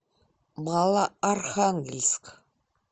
малоархангельск